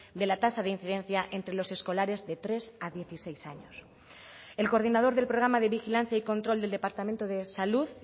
de la tasa de incidencia entre los escolares de tres a dieciséis años el coordinador del programa de vigilancia y control del departamento de salud